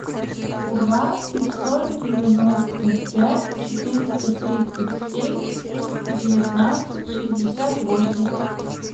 два пятьсот девяносто пять четыреста тридцать семь девятнадцать шестьдесят восемь